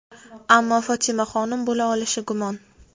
ammo Fotimaxonim bo‘la olishi gumon.